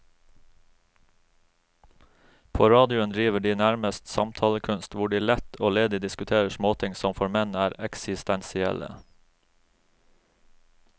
På radioen driver de nærmest samtalekunst, hvor de lett og ledig diskuterer småting som for menn er eksistensielle.